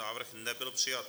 Návrh nebyl přijat.